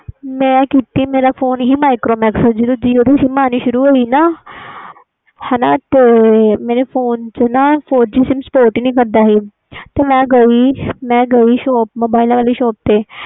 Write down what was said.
ਮੈਂ ਕੀਤੀ ਮੇਰਾ ਫੋਨ ਸੀ micromax ਦਾ ਜਦੋ jio ਦੀ sim ਆਣੀ ਸ਼ੁਰੂ ਹੋਈ ਨਾ ਤੇ ਮੇਰਾ ਫੋਨ ਵਿਚ spot ਹੀ ਨਹੀਂ ਕੀਤੀ ਤੇ ਮੈਂ ਗੀ shop ਤੇ